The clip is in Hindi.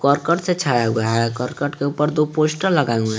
करकट से छाया हुआ है करकट के ऊपर दो पोस्टर लगाए हुए हैं।